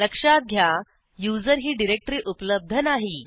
लक्षात घ्या user ही डिरेक्टरी उपलब्ध नाही